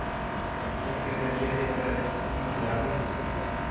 Styrkja þeir lið ykkar ekki gífurlega mikið?